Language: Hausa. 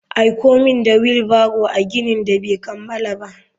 Aiko min da wheel barrow a ginin da bai kammala ba.